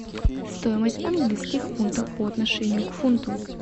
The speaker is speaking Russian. стоимость английских фунтов по отношению к фунту